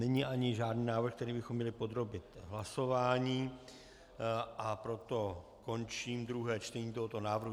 Není ani žádný návrh, který bychom měli podrobit hlasování, a proto končím druhé čtení tohoto návrhu.